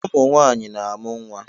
Umunwaanyị na-amụ nwa